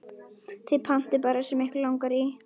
Þið pantið bara það sem ykkur langar í.